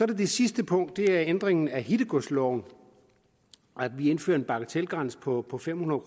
der det sidste punkt det ændringen af hittegodsloven vi indfører en bagatelgrænse på på fem hundrede